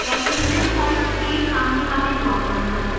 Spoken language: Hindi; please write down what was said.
calculation type के सामने वाले dropdown पर click करें